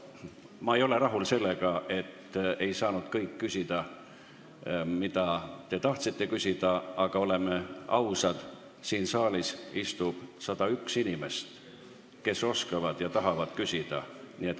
Ma ei ole rahul sellega, et kõik ei saanud küsida, mida te tahtsite küsida, aga oleme ausad, siin saalis istub 101 inimest, kes oskavad ja tahavad küsida.